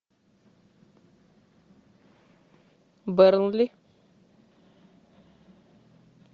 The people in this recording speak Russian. бернли